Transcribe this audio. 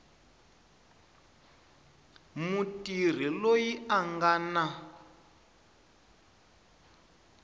mutirhi loyi a nga na